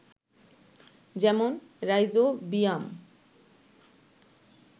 যেমন, রাইজোবিয়াম